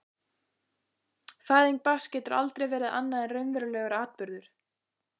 Fæðing barns getur aldrei verið annað en raunverulegur atburður.